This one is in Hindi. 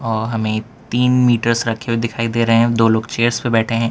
और हमें तीन मीटर्स रखे हुए दिखाई दे रहे हैं दो लोग चेयर्स पे बैठे हैं।